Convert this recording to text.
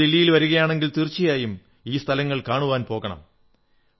നിങ്ങൾ ദില്ലിയിൽ വരുകയാണെങ്കിൽ തീർച്ചയായും ഈ സ്ഥലങ്ങൾ കാണുവാൻ പോകണം